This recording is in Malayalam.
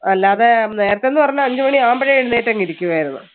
അല്ലാതെ നേരത്തെ എന്ന് പറഞ്ഞാൽ അഞ്ചു മണിയാകുമ്പോഴേ എഴുന്നേറ്റ് അങ്ങ് ഇരിക്കുമായിരുന്നു.